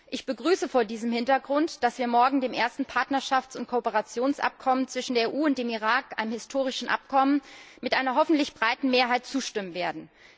Ich begrüße vor diesem Hintergrund, dass wir morgen dem ersten Partnerschafts und Kooperationsabkommen zwischen der EU und dem Irak einem historischen Abkommen mit einer hoffentlich breiten Mehrheit zustimmen werden.